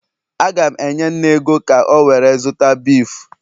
Agam enye nne ego ka o were zuta beef